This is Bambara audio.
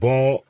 Bɔn